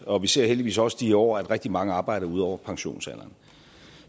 og vi ser heldigvis også i år at rigtig mange arbejder ud over pensionsalderen